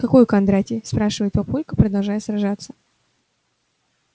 какой кондратий спрашивает папулька продолжая сражаться